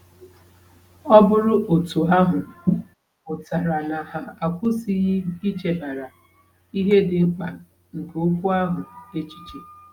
Ọ bụrụ otú ahụ, pụtara na ha akwụsịghị ichebara ihe dị mkpa nke Okwu ahụ echiche.